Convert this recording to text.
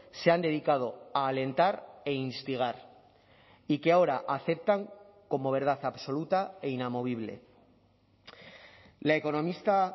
se han dedicado a alentar e instigar y que ahora aceptan como verdad absoluta e inamovible la economista